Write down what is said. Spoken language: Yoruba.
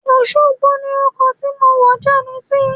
Òṣogbo ni ọkọ̀ tí mo wọ̀ já mi sí.